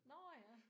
Nåh ja